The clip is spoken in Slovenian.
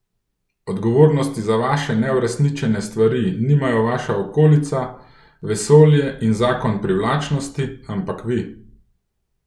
Odgovornosti za vaše neuresničene stvari nimajo vaša okolica, vesolje in zakon privlačnosti, ampak vi!